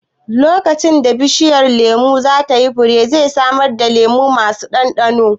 Lokacin da bishiyar lemun za ta yi fure, zai samar da lemu masu ɗanɗano